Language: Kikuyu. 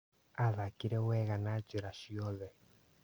Aathakire wega na njĩra ciothe.